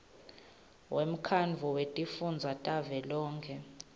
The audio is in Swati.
wemkhandlu wetifundza wavelonkhe